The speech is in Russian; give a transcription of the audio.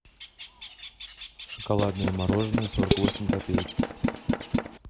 шоколадное мороженое сорок восемь копеек